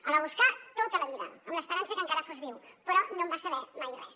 el va buscar tota la vida amb l’esperança que encara fos viu però no en va saber mai res